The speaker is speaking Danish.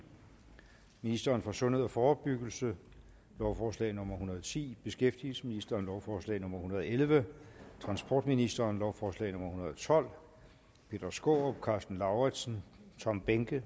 ministeren for sundhed og forebyggelse lovforslag nummer hundrede og ti beskæftigelsesministeren lovforslag nummer hundrede og elleve transportministeren lovforslag nummer hundrede og tolv peter skaarup karsten lauritzen og tom behnke